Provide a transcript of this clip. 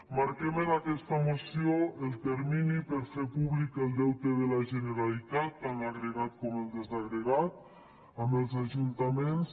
marquem en aquesta moció el termini per fer públic el deute de la generalitat tant l’agregat com el desagregat amb els ajuntaments